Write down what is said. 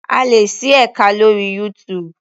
A lè ṣí ẹka lórí YouTube.